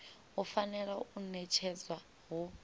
i fanela u ṋetshedzwa hu